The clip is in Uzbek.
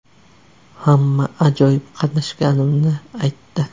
Hamma ajoyib qatnashganimni aytdi.